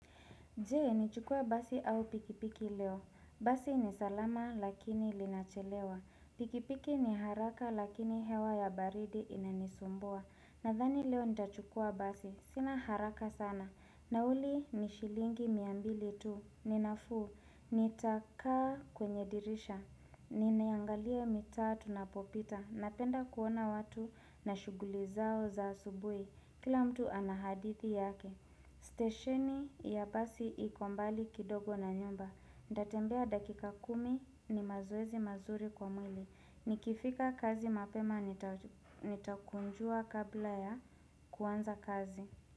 Je, nichukua basi au pikipiki leo? Basi ni salama lakini linachelewa. Pikipiki ni haraka lakini hewa ya baridi inanisumbua. Nadhani leo nitachukua basi. Sina haraka sana. Nauli ni shilingi mia mbili tu, ninafuu. Nitakaa kwenye dirisha. Ninaingalia mitaa tunapopita. Napenda kuona watu na shughuli zao za asubui. Kila mtu anahadithi yake. Steshini ya basi iko mbali kidogo na nyumba. Nitatembea dakika kumi ni mazoezi mazuri kwa mwili. Nikifika kazi mapema nitakunjua kabla ya kuanza kazi.